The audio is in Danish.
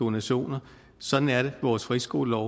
donationer sådan er vores friskolelov